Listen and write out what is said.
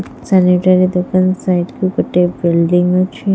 Sanitary ଦୋକାନ ସାଇଟକୁ ଗୋଟିଏ ବିଲଡିଙ୍ଗ ଅଛି।